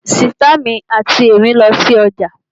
Sìtá mi àti èmí lọ sí ọjà